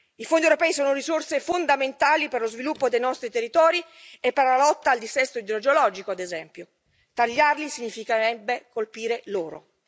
I fondi europei sono risorse fondamentali per lo sviluppo dei nostri territori e per la lotta al dissesto idrogeologico, ad esempio, tagliarli significherebbe colpire loro.